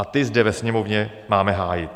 A ty zde ve Sněmovně máme hájit.